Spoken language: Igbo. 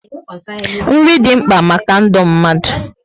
Nri dị mkpa maka ndụ mmadụ